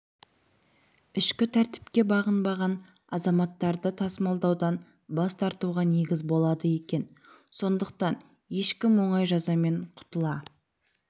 ішкі тәртіпке бағынбаған азаматтарды тасымалдаудан бас тартуға негіз болады екен сондықтан ешкім оңай жазамен құтыла